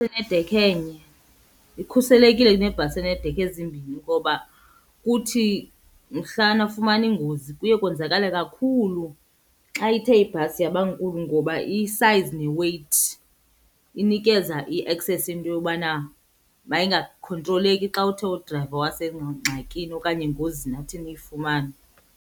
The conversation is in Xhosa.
Enedekha enye ikhuselekile kunebhasi eneedekha ezimbini ngoba kuthi mhla nafumana iingozi kuye konzakale kakhulu xa ithe ibhasi yaba nkulu ngoba isayizi neweyithi inikeza i-access yento yobana mayingakhontroleki xa uthe udrayiva wasengxakini okanye engozini athi niyifumane.